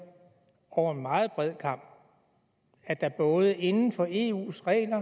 over en meget bred kam at der både inden for eus regler